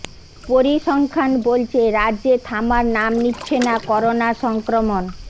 পরিসংখ্যান বলছে রাজ্য়ে থামার নাম নিচ্ছে না করোনা সংক্রমণ